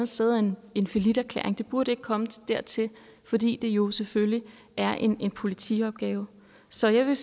sted er en en falliterklæring det burde ikke komme dertil fordi det jo selvfølgelig er en politiopgave så jeg